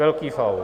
Velký faul.